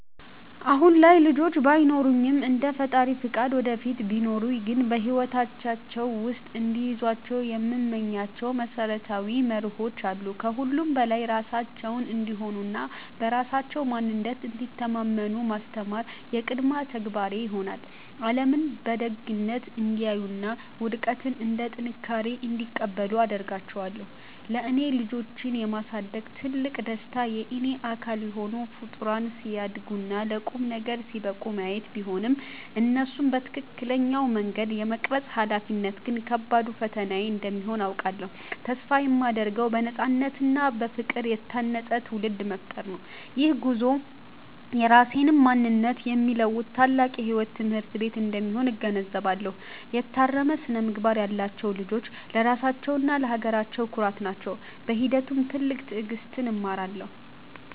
አሁን ላይ ልጆች ባይኖሩኝም፣ እንደ ፈጣሪ ፈቃድ ወደፊት ቢኖሩኝ ግን በሕይወታቸው ውስጥ እንዲይዟቸው የምመኛቸው መሰረታዊ መርሆዎች አሉ። ከሁሉም በላይ ራሳቸውን እንዲሆኑና በራሳቸው ማንነት እንዲተማመኑ ማስተማር የቅድሚያ ተግባሬ ይሆናል። ዓለምን በደግነት እንዲያዩና ውድቀትን እንደ ጥንካሬ እንዲቀበሉ አደርጋቸዋለሁ። ለእኔ ልጆችን የማሳደግ ትልቁ ደስታ የእኔ አካል የሆኑ ፍጡራን ሲያድጉና ለቁም ነገር ሲበቁ ማየት ቢሆንም፣ እነሱን በትክክለኛው መንገድ የመቅረጽ ኃላፊነት ግን ከባዱ ፈተናዬ እንደሚሆን አውቃለሁ። ተስፋ የማደርገው በነፃነትና በፍቅር የታነፀ ትውልድ መፍጠር ነው። ይህ ጉዞ የራሴንም ማንነት የሚለውጥ ታላቅ የሕይወት ትምህርት ቤት እንደሚሆን እገነዘባለሁ። የታረመ ስነ-ምግባር ያላቸው ልጆች ለራሳቸውና ለሀገራቸው ኩራት ናቸው። በሂደቱም ትልቅ ትዕግሥትን እማራለሁ።